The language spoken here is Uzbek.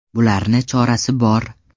Bularni chorasi bor.